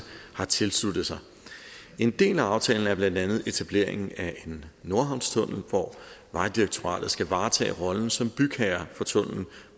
har tilsluttet sig en del af aftalen er blandt andet etableringen af en nordhavnstunnel hvor vejdirektoratet skal varetage rollen som bygherre